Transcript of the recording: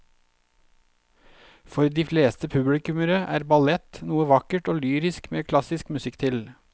For de fleste publikummere er ballett noe vakkert og lyrisk med klassisk musikk til.